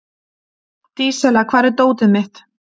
Dísella, hvar er dótið mitt?